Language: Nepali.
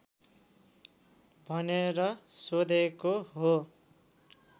भनेर सोधेको हो